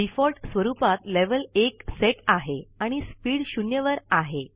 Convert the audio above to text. default स्वरुपात level १ set आहे आणि स्पीड शून्यवर आहे